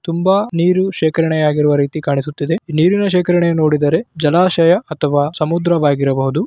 ತುಂಬಾ ನೀರು ಶೇಖರಣೆಯಾಗಿರುವ ರೀತಿ ಕಾಣಿಸುತ್ತಿದೆ. ನೀರಿನ ಶೇಖರಣೆ ನೋಡಿದರೆ ಜಲಾಶಯ ಅಥವಾ ಸಮುದ್ರವಾಗಿರಬಹುದು.